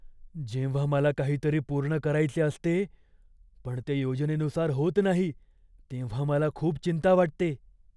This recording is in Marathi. जेव्हा मला काहीतरी पूर्ण करायचे असते, पण ते योजनेनुसार होत नाही, तेव्हा मला खूप चिंता वाटते.